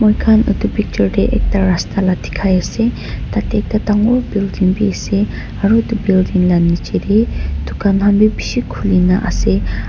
muikhan itu picture tey ekta rasta la dikhai ase tatey ekta dangor building bi ase aru utu building la nichetey dukhan han wi bishi khulina ase.